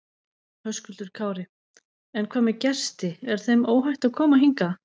Höskuldur Kári: En hvað með gesti, er þeim óhætt að koma hingað?